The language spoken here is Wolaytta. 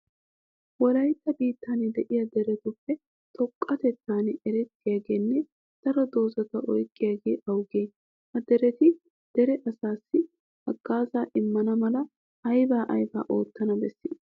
Wolaytta biittan de'iya deretuppe xoqqatettan erettiyageenne daro dozata oyqqidaage awugee? Ha dereti dere asaassi haggaazaa immana mala aybaa aybaa oottana bessii?